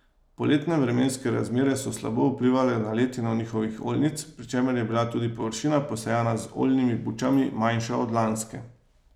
Poletne vremenske razmere so slabo vplivale na letino njivskih oljnic, pri čemer je bila tudi površina, posejana z oljnimi bučami, manjša od lanske.